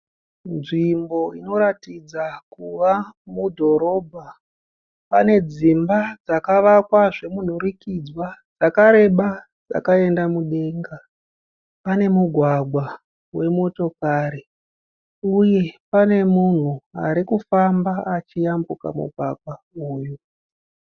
Nzvimbo inoratidza kuva mudhorobha. Pane dzimba dzakavakwa zvemunhurikidzwa, dzakareba, dzakaenda mudenga. Pane mugwagwa wemotokari uye pane munhu arikufamba achiyambuka mugwagwa uyu.